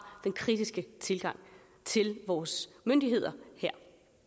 den kritiske tilgang til vores myndigheder her